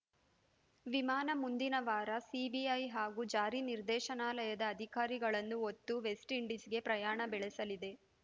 ವಿಮಾನ ಮುಂದಿನ ವಾರ ಸಿಬಿಐ ಹಾಗೂ ಜಾರಿ ನಿರ್ದೇಶನಾಲಯದ ಅಧಿಕಾರಿಗಳನ್ನು ಹೊತ್ತು ವೆಸ್ಟ್‌ ಇಂಡೀಸ್‌ಗೆ ಪ್ರಯಾಣ ಬೆಳೆಸಲಿದೆ